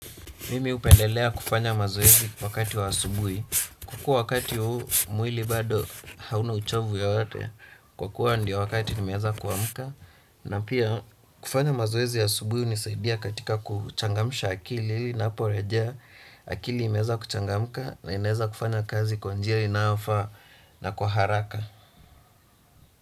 Mimi upendelea kufanya mazoezi kwa wakati wa asubuhi. Kwa kuwa wakati huu mwili bado hauna uchovu yoyote. Kwa kuwa ndio wakati nimeanza kuamka. Na pia kufanya mazoezi ya asubuhi unisaidia katika kuchangamsha akili. Napo rejea akili imeanza kuchangamka na inaeza kufanya kazi kwa njia inayofaa na kwa haraka.